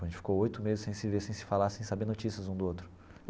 A gente ficou oito meses sem se ver, sem se falar, sem saber notícias um do outro.